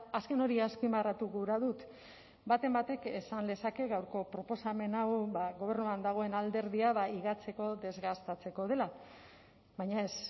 azken hori azpimarratu gura dut baten batek esan lezake gaurko proposamen hau gobernuan dagoen alderdia higatzeko desgastatzeko dela baina ez